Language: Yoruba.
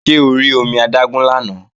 Ṣé o rí omi adágún lánàá?